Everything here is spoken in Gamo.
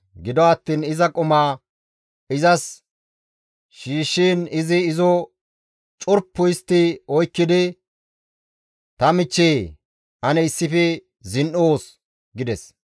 Gido attiin iza qumaa izas shiishshiin izi izo curpu histti oykkidi, «Ta michcheyee! Ane issife zin7oos» gides.